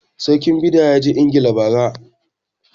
Sarkin Bida ya je ingila ba ra